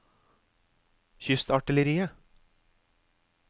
kystartilleriet